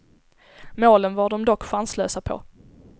Målen var de dock chanslösa på.